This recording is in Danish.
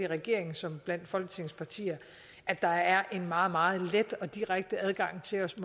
regeringen som folketingets partier er der en meget meget let og direkte adgang til os